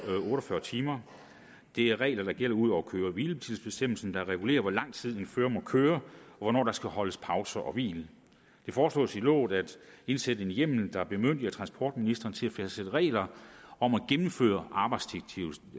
otte og fyrre timer det er regler der gælder ud over køre hvile tids bestemmelser der regulerer hvor lang tid en fører må køre og hvornår der skal holdes pauser og hvil det foreslås i loven at indsætte en hjemmel der bemyndiger transportministeren til at fastsætte regler om at gennemføre